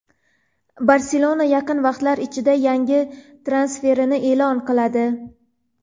"Barselona" yaqin vaqtlar ichida yangi transferini eʼlon qiladi.